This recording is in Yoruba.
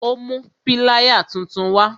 Ó mú pilaya tuntun wa